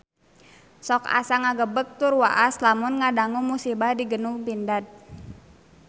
Sok asa ngagebeg tur waas lamun ngadangu musibah di Gedung Pindad